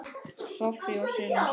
Soffía og synir.